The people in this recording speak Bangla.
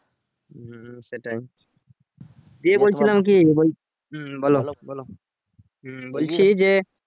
সেটাই দিয়ে বলছিলাম কি হম বলছি যে